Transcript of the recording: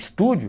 Estúdio?